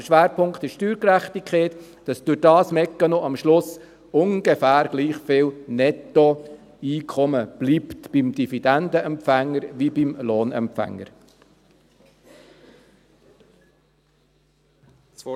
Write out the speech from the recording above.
Der Schwerpunkt ist die Steuergerechtigkeit, dass durch diesen Mechanismus am Schluss sowohl beim Dividendenempfänger als auch beim Lohnempfänger ungefähr gleich viel Nettoeinkommen bleibt.